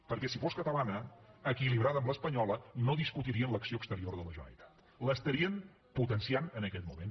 perquè si fos catalana equilibrada amb l’espanyola no discutirien l’acció exterior de la generalitat l’estarien potenciant en aquest moment